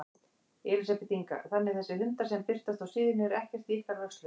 Elísabet Inga: Þannig þessir hundar sem birtast á síðunni eru ekkert í ykkar vörslu?